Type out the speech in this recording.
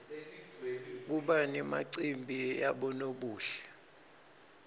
kuba nemacimbi yabonobuhle